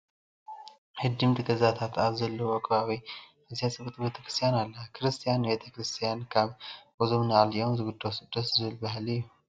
ህድም ገዛታት ኣብ ዘለዉዎ ከባቢ ኣዝያ ፅብቕቲ ቤተ ክርስቲያን ኣላ፡፡ ክርስቲያን ንቤተ ክርስቲያን ካብ ገዝኦም ንላዕሊ እዮም ዝግደሱ፡፡ ደስ ዝብል ባህሊ እዩ፡፡